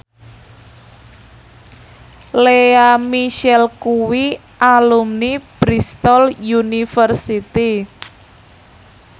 Lea Michele kuwi alumni Bristol university